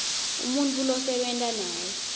umuntfu losebenta naye